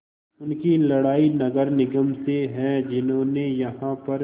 उनकी लड़ाई नगर निगम से है जिन्होंने यहाँ पर